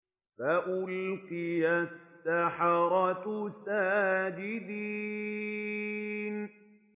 فَأُلْقِيَ السَّحَرَةُ سَاجِدِينَ